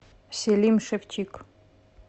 селим шевчик